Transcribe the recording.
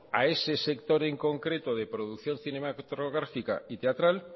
a ese sector en concreto de producción cinematográfica y teatral